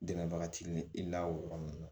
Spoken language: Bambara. Dɛmɛbaga t'i ni i la o yɔrɔ ninnu na